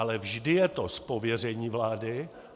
Ale vždy je to z pověření vlády.